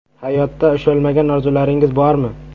Hayotda ushalmagan orzularingiz bormi?